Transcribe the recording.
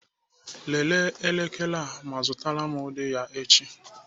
Lelee elekere a ma zụtara m ụdị ya echi.